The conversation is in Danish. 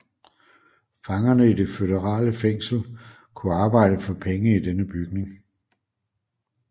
Fangerne i det føderale fængsel kunne arbejde for penge i denne bygning